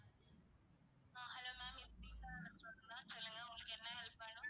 அஹ் hello ma'am இது premist garden restaurant தான். சொல்லுங்க உங்களுக்கு என்ன help வேணும்?